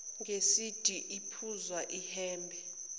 ngesudi ephuzi ihhembe